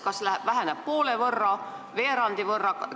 Kas see arv väheneb näiteks poole või veerandi võrra?